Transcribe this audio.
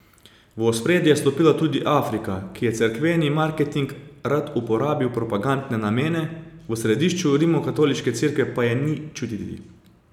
V ospredje je stopila tudi Afrika, ki jo cerkveni marketing rad uporabi v propagandne namene, v središču rimskokatoliške cerkve pa je ni čutiti.